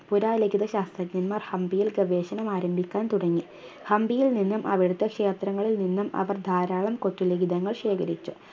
പുരാലിഖിത ശാസ്ത്രജ്ഞാന്മാർ ഹംപിയിൽ ഗവേഷണം ആരംഭിക്കാൻ തുടങ്ങി ഹംപിയിൽ നിന്നും അവിടുത്തെ ക്ഷേത്രങ്ങളിൽ നിന്നും അവർ ധാരാളം കൊത്തു ലിഖിതങ്ങൾ ശേഖരിച്ചു